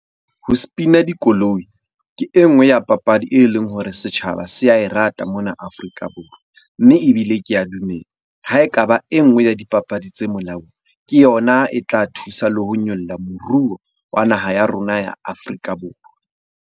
Ho spin-a dikoloi ke e nngwe ya papadi e leng hore setjhaba se a e rata mona Afrika Borwa. Mme ebile kea dumela ha ekaba e nngwe ya dipapadi tse molaong. Ke yona e tla thusa le ho nyolla moruo wa naha ya rona ya Afrika Borwa.